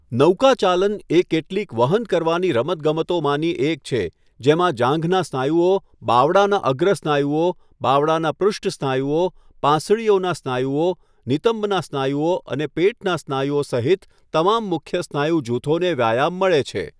નૌકાચાલન એ કેટલીક વહન કરવાની રમતગમતોમાંની એક છે જેમાં જાંઘના સ્નાયુઓ, બાવડાના અગ્ર સ્નાયુઓ, બાવડાના પૃષ્ઠ સ્નાયુઓ, પાંસળીઓનાં સ્નાયુઓ, નિતંબના સ્નાયુઓ અને પેટના સ્નાયુઓ સહિત તમામ મુખ્ય સ્નાયુ જૂથોને વ્યાયામ મળે છે.